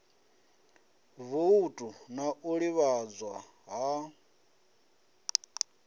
voutu na u ḓivhadzwa ha